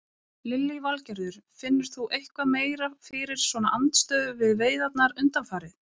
Lillý Valgerður: Finnur þú eitthvað meira fyrir svona andstöðu við veiðarnar undanfarið?